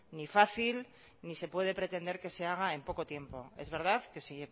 ni fácil ni se puede pretender que se haga en poco tiempo es verdad que se